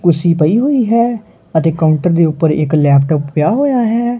ਕੁਰਸੀ ਪਈ ਹੋਈ ਹੈ ਅਤੇ ਕਾਊਂਟਰ ਦੇ ਉੱਪਰ ਇੱਕ ਲੈਪਟਾਪ ਪਿਆ ਹੋਇਆ ਹੈ।